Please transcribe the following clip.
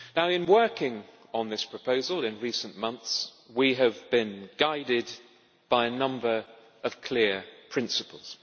In working on this proposal in recent months we have been guided by a number of clear principles.